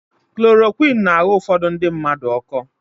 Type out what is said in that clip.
Kulorokwịn na-aghọ ufodu ndị mmadụ ọkọ.